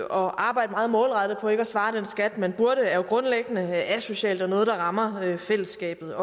arbejde meget målrettet på ikke at svare den skat man burde er jo grundlæggende asocialt og noget der rammer fællesskabet